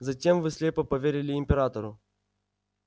затем вы слепо поверили императору